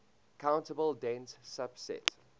countable dense subset